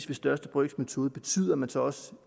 ved største brøks metode betyder at man så